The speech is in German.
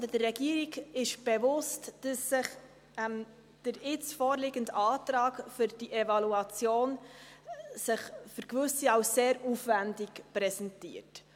Der Regierung ist bewusst, dass sich der jetzt vorliegende Antrag für diese Evaluation für Gewisse als sehr aufwendig präsentiert.